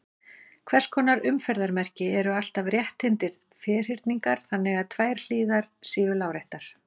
Hvers konar umferðarmerki eru alltaf rétthyrndir ferhyrningar þannig að tvær hliðar eru láréttar?